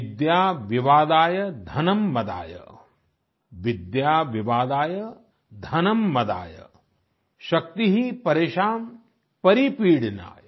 विद्या विवादाय धनं मदाय शक्ति परेषां परिपीडनाय